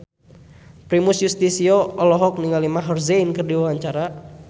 Primus Yustisio olohok ningali Maher Zein keur diwawancara